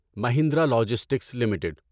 Mahindra logistics limited